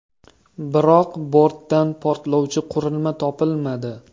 Biroq bortdan portlovchi qurilma topilmadi.